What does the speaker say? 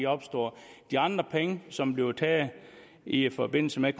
opstår de andre penge som bliver taget i forbindelse med